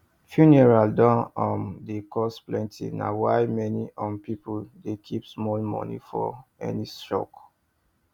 funeral don um dey cost plenty na why many um people dey keep small money for any shock